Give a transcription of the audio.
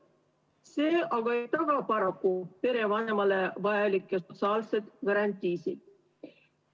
See aga ei taga paraku perevanemale vajalikke sotsiaalseid garantiisid.